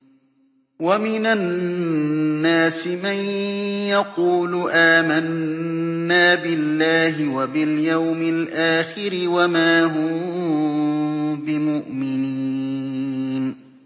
وَمِنَ النَّاسِ مَن يَقُولُ آمَنَّا بِاللَّهِ وَبِالْيَوْمِ الْآخِرِ وَمَا هُم بِمُؤْمِنِينَ